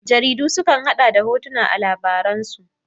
Jaridu su kan hada da hotuna a labaransu.